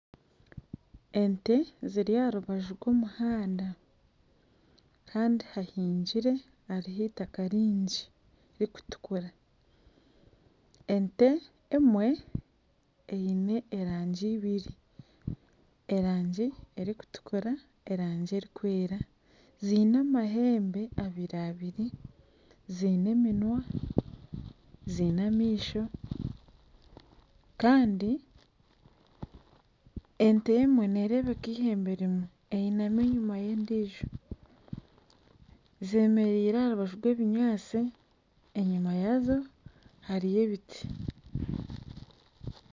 Ente ziri aha rubaju rw'omuhanda kandi hahingire hariho itaka ringi ririkutukura, ente emwe eine erangi ibiri erangi erikutukura erangi erikwera ziine amahembe abiri abiri ziine eminwa ziine amaisho kandi ente emwe neerebeka ihembe rimwe eyinami enyima y'endiijo z'emeriire aha rubaju rw'ebinyatsi enyima yaazo hariyo ebiti